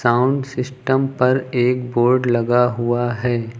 Sound system पर एक board लगा हुआ है।